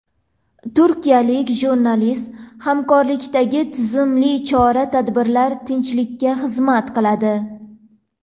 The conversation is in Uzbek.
Turkiyalik jurnalist: Hamkorlikdagi tizimli chora-tadbirlar tinchlikka xizmat qiladi.